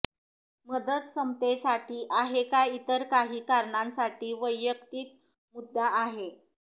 मदत समतेसाठी आहे का इतर काही कारणांसाठी वैयक्तिक मुद्दा आहे